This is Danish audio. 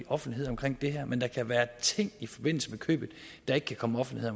offentlighed omkring det her men der kan være ting i forbindelse med købet der ikke kan komme offentlighed